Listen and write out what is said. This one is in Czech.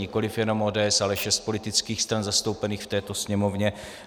Nikoliv jenom ODS, ale šest politických stran zastoupených v této Sněmovně.